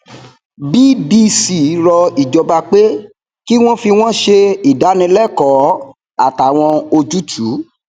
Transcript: bdc rọ ìjọba pé kí wọn fi wọn ṣe ìdánilẹkọọ àtàwọn ojútùú